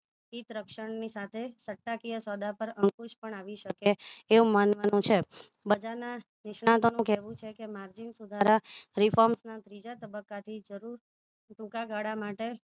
હિતરક્ષણની સાથે સતાકીય સોદા પર અંકુશ પણ આવી શકે છે એવું માનવાનું છે બજારના નિષ્ણાતોનું કહેવું છે કે margin સુધારા trigonometry ના ત્રીજા તબક્કાથી જરૂર ટૂંકાગાળા માટે